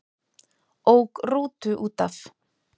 Ók rútu útaf